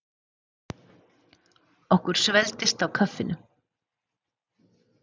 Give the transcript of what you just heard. Okkur svelgdist á kaffinu.